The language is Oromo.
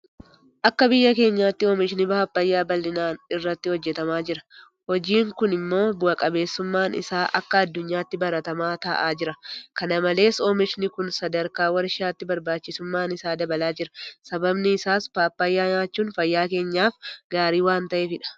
Akka biyya keenyaatti oomishni Paappaayyaa bal'inaan irratti hojjetamaa jira. Hojiin kun immoo bu'a qabeessummaan isaa akka addunyaatti baratamaa ta'aa jira. Kana malees oomishni kun sadarkaa warshaatti barbaachisummaan isaa dabalaa jira. Sababni isaas Paappaayyaa nyaachuun fayyaa keenyaaf gaarii waanta ta'eefidha.